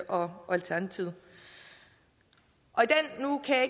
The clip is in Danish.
og alternativet nu kan